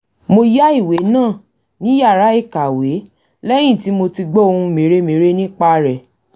mo yá ìwé náà ní yàrá ìkàwé lẹ́yìn tí mo ti gbọ́ ohun mère-mère nípa rẹ̀